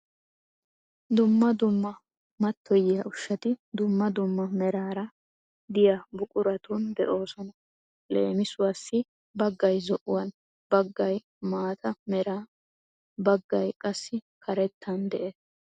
Dumma dumma mattoyiya ushshati dumma dumma meraara diya buquratun de'oosona. Leemisuwaassi baggay zo'uwan baggay maata meran baggay qassi karettan de'es.